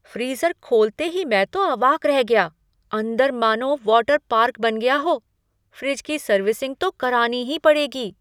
Freezer खोलते ही मैं तो अवाक रह गया। अंदर मानो वाटर पार्क बन गया हो! फ़्रिज की सर्विसिंग तो करानी ही पड़ेगी।